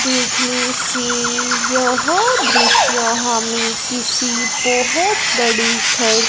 देखने से यह दृश्य हमें किसी बहुत बड़ी घर--